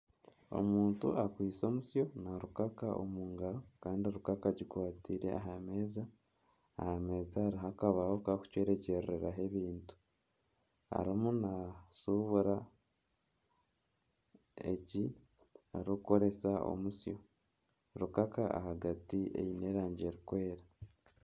Omuntu akwaitse omusyo na rukaka omu ngaro kandi rukaka agikwataire aha meeza aha meeza hariho akabaho k'okucwekyererezaho ebintu arimu nashushubura egi rukaaka arikukoresa omusyo, rukaka ahagati eine rangi erikwera.